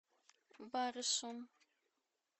барышом